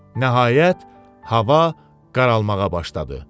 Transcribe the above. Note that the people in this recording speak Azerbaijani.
Nəhayət, hava qaralmağa başladı.